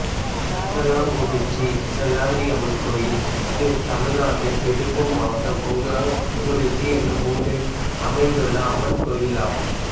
கொங்கலக்குறிச்சி செல்லாண்டியம்மன் கோயில் தமிழ்நாட்டில் திருப்பூர் மாவட்டம் கொங்கலக்குறிச்சி என்னும் ஊரில் அமைந்துள்ள அம்மன் கோயிலாகும்